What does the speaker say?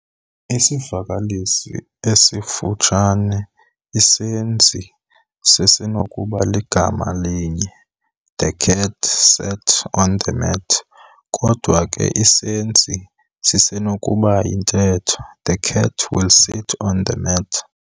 Isivakalisi esifutshane, isenzi sisenokuba ligama elinye- "The cat "sat" on the mat". Kodwa ke isenzi sisenokuba yintetho- "The cat "will sit" on the mat".